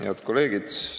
Head kolleegid!